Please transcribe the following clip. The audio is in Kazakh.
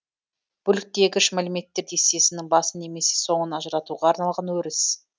бөліктегіш мәліметтер дестесінің басын немесе соңын ажыратуға арналған өріс